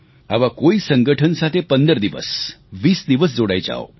આવા કોઈ સંગઠન સાથે 15 દિવસ 20 દિવસ જોડાઈ જાવ